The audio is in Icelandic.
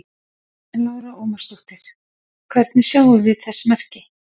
Lára Ómarsdóttir: Hvernig sjáum við þess merki?